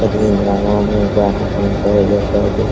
और यह गांवो में पानी पहुंचाया जाता है देख --